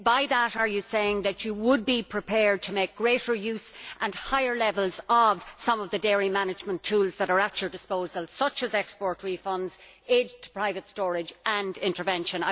By that, are you saying that you would be prepared to make greater use of some of the dairy management tools that are at your disposal, such as export refunds, aid to private storage and intervention?